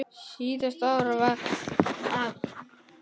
Síðasta ár var afa erfitt.